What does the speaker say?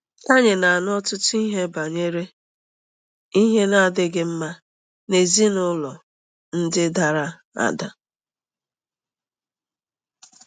Anyị na-anụ ọtụtụ ihe banyere ihe na-adịghị mma n'ezinụlọ ndị dara ada.